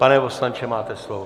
Pane poslanče, máte slovo.